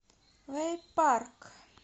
вэйпарк